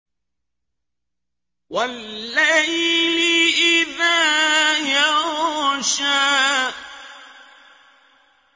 وَاللَّيْلِ إِذَا يَغْشَىٰ